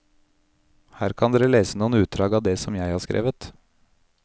Her kan dere lese noen utdrag av det som jeg har skrevet.